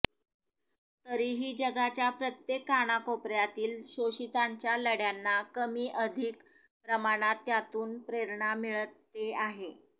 तरीही जगाच्या प्रत्येक कानाकोपऱ्यातील शोषितांच्या लढ्यांना कमी अधिक प्रमाणात त्यातून प्रेरणा मिळते आहे